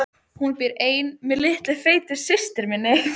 Hún býr ein með litlu feitu systur minni.